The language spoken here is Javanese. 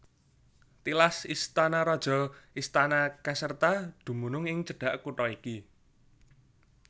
Tilas istana raja istana Caserta dumunung ing cedhak kutha iki